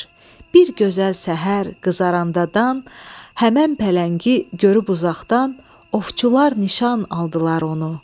Bir gözəl səhər qızaranda dan həmin pələngi görüb uzaqdan ovçular nişan aldılar onu.